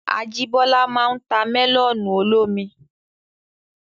Ajíbọ́lá máa n ta mẹ́lọ̀nù olómi